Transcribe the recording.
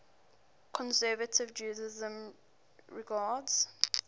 conservative judaism regards